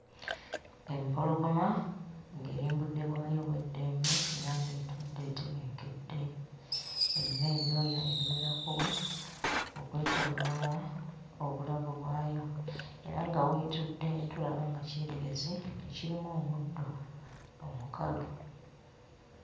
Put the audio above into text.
Empologoma ng'eri mu budde bwayo obw'eddembe era ng'etudde etebenkedde. Erina ebyoya ebiwerako okwetooloola obulago bwayo. Era nga w'etudde tulaba nga kyererezi kirimu omuddo omukalu.